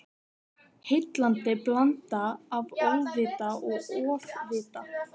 Heillandi blanda af óvita og ofvita.